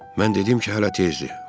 Mən dedim ki, hələ tezdir.